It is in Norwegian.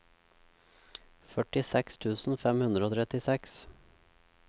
førtiseks tusen fem hundre og trettiseks